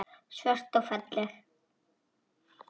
Svört og falleg.